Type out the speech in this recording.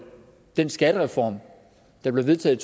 den skattereform der blev vedtaget